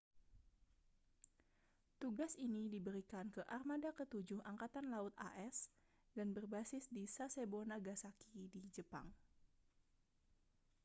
tugas ini diberikan ke armada ketujuh angkatan laut as dan berbasis di sasebo nagasaki di jepang